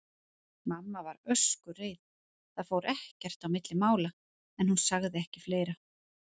Mamma var öskureið, það fór ekkert á milli mála, en hún sagði ekki fleira.